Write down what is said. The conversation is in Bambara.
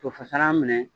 Tofasalan minɛ